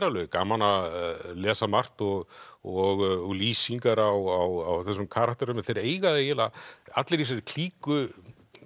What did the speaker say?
alveg gaman að lesa margt og og lýsingar á þessum karakterum þeir eiga það eiginlega allir í þessari klíku